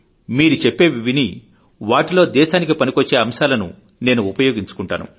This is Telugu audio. మీరు చెప్పేవి విని వాటిలో దేశానికి పనికొచ్చే అంశాలను నేను ఉపయోగించుకుంటాను